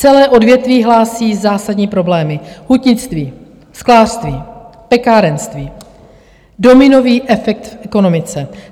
Celá odvětví hlásí zásadní problémy, hutnictví, sklářství, pekárenství, dominový efekt v ekonomice.